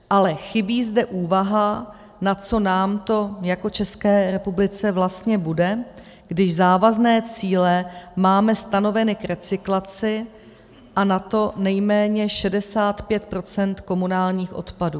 Ale chybí zde úvaha, na co nám to jako České republice vlastně bude, když závazné cíle máme stanoveny k recyklaci, a na to nejméně 65 % komunálních odpadů.